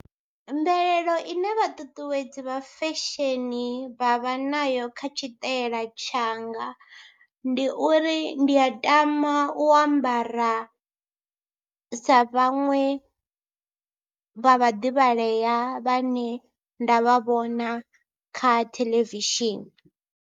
Mvelelo ine vhaṱuṱuwedzi vha fesheni vha vha nayo kha tshitaela tshanga ndi uri ndi a tama u ambara sa vhaṅwe vha vhaḓivhalea vhane nda vha vhona kha theḽevishini.